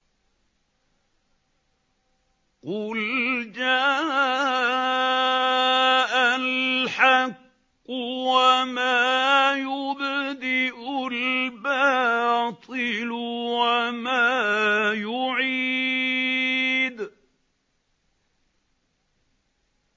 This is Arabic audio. قُلْ جَاءَ الْحَقُّ وَمَا يُبْدِئُ الْبَاطِلُ وَمَا يُعِيدُ